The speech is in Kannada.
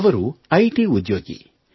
ಅವರು ಐ ಟಿ ಉದ್ಯೋಗಿ